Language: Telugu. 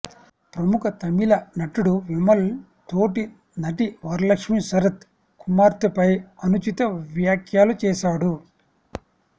ప్రముఖ తమిళ నటుడు విమల్ తోటి నటి వరలక్ష్మి శరత్ కుమార్పై అనుచిత వ్యాఖ్యలు చేశాడు